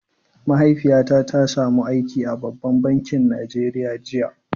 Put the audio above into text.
Mahaifiyata ta samu aiki a babban bankin Najeriya jiya.